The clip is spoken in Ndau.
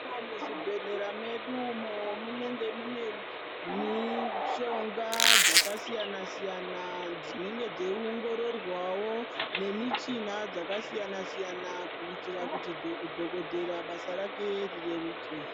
Umo muzvibhedhlera medu imo munenge mune mishonga dzakasiyana-siyana dzinenge dzeiomgororwawo nemichina dzakasiyana-siyana kuitira kuti dhokoteya basa rake rireruke.